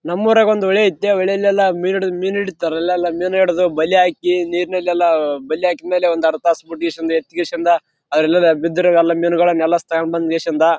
ನಮ್ಮೂರಾಗ ಒಂದು ಹೊಳೆ ಐತೆ ಆ ಹೊಳೆಯಲ್ಲೆಲ್ಲ ಮೀನು ಹಿಡಿದು ಮೀನ್‌ ಹಿಡೀತಾರ ಅಲ್ಲೆಲ್ಲ ಮೀನ್‌ ಹಿಡ್ದು ಬಲೆ ಹಾಕಿ ನೀರ್ನಲ್ಲೆಲ್ಲ ಬಲೆ ಹಾಕಿದ್ಮೇಲೆ ಒಂದರ್ಧ ಅಲ್ಲಿ ಬಿದ್ದ ಮೀನ್ಗಳನ್ನೆಲ್ಲನ ತಗೊಂಬಂದು .